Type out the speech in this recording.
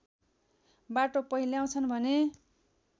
बाटो पहिल्याउँछन् भने